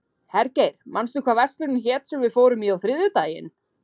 Hergeir, manstu hvað verslunin hét sem við fórum í á þriðjudaginn?